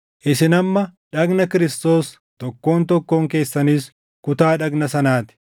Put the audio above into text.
Isin amma dhagna Kiristoos; tokkoon tokkoon keessanis kutaa dhagna sanaa ti.